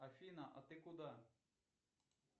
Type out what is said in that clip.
афина а ты куда